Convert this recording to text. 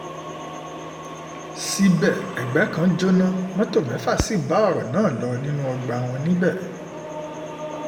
síbẹ̀ ẹgbẹ́ kan jóná mọ́tò mẹ́fà sí bá ọ̀rọ̀ náà lọ nínú ọgbà wọn níbẹ̀